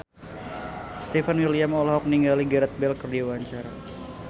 Stefan William olohok ningali Gareth Bale keur diwawancara